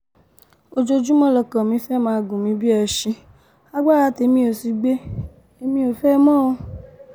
ojoojúmọ́ lọkọ mi fẹ́ẹ́ máa gún mi bíi ẹṣin agbára tèmi ó sì gbé èmi ò fẹ́ ẹ mọ́-jẹ́lílátà